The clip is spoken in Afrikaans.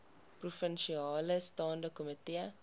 provinsiale staande komitee